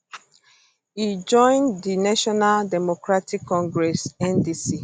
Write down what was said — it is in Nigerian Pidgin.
e join di national democratic congress ndc